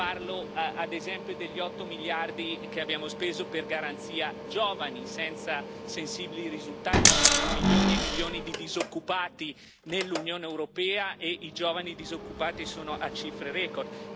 Parlo, ad esempio, degli 8 miliardi che abbiamo speso per la Garanzia per i giovani, senza sensibili risultati ci sono milioni e milioni di disoccupati nell'Unione europea e i giovani disoccupati hanno raggiunto cifre record.